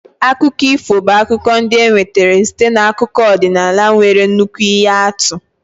Akụkọ ifo bụ akụkọ ndị e nwetara site n'akụkọ ọdịnala nwere nnukwu ihe atụ.